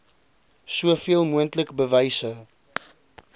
soveel moontlik bewyse